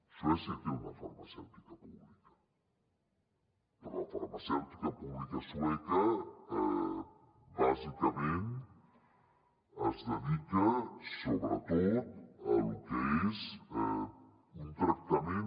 suècia té una farmacèutica pública però la farmacèutica pública sueca bàsicament es dedica sobretot a lo que és un tractament